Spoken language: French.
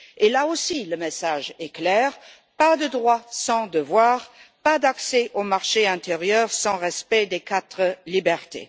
Là aussi, le message est clair pas de droits sans devoirs, pas d'accès au marché intérieur sans respect des quatre libertés.